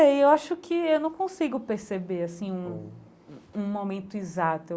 E eu acho que eu não consigo perceber, assim, um um um momento exato.